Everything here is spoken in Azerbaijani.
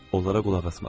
Onlara qulaq asmadım.